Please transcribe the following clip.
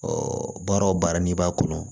baara o baara n'i b'a kɔnɔ